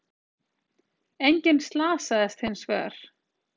Enginn slasaðist hins vegar